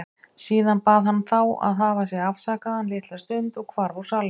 Síðan bað hann þá að hafa sig afsakaðan litla stund og hvarf úr salnum.